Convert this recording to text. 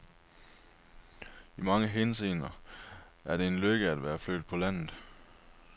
I mange henseender er det en lykke at være flyttet på landet.